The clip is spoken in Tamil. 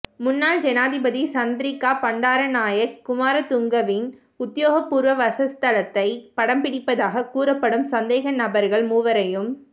முன்னாள் ஜனாதிபதி சந்திரிகா பண்டாரநாயக்க குமாரதுங்கவின் உத்தியோகபூர்வ வாசஸ்தலத்தை படம்பிடித்ததாக கூறப்படும் சந்தேகநபர்கள் மூவரையும்